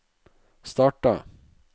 starta